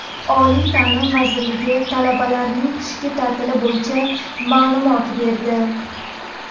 Oliy ta’lim vazirligi talabalarning qishki ta’tili bo‘yicha ma’lumot berdi.